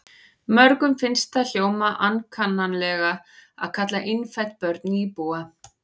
Mörgum finnst það hljóma ankannalega að kalla innfædd börn nýbúa.